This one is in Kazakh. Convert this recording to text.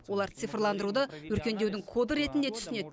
олар цифрландыруды өркендеудің коды ретінде түсінеді